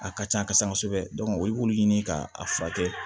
A ka can kosɛbɛ kosɛbɛ olu b'u ɲini k'a furakɛ